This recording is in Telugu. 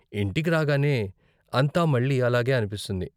ఇంటికి రాగానే, అంతా మళ్ళీ అలాగే అనిపిస్తుంది.